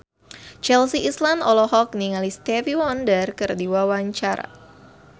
Chelsea Islan olohok ningali Stevie Wonder keur diwawancara